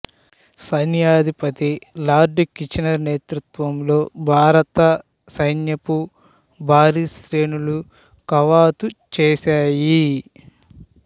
సైన్యాధిపతి Lord Kitchener నేతృత్వంలో భారత సైన్యపు భారీ శ్రేణులు కవాతు చేశాయి